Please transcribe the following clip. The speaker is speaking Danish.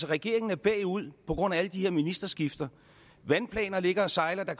regeringen er bagud på grund af alle de her ministerskifter vandplaner ligger og sejler der